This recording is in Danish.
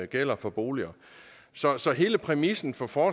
gælder for boliger så så hele præmissen for for